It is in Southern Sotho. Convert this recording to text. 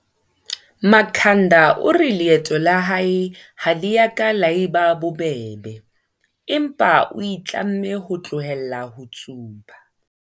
Makhanda o re leeto la hae ha le ka la eba bobebe, empa o itlamme ho tlohela ho tsuba.